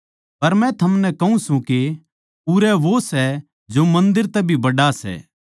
पर मै थमनै कहूँ सूं के उरै वो सै जो मन्दर तै भी बड्ड़ा सै